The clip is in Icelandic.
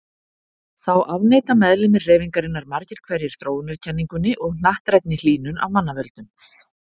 Þá afneita meðlimir hreyfingarinnar margir hverjir þróunarkenningunni og hnattrænni hlýnun af mannavöldum.